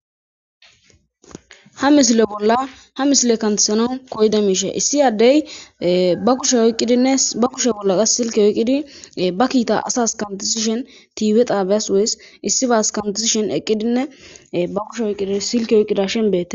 Ha misile bolla ha misiley kantisanawu koyida mishey issi adeyi ba kushe oykidinne ba kushe bolla qase silke oykidi ba kita asasi kantisishin Tv xabasi woysibissi basi kantisishin eqidinne ba kushe oykidi silke oyikidashn beetesi